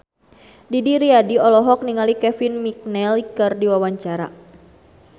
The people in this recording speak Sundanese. Didi Riyadi olohok ningali Kevin McNally keur diwawancara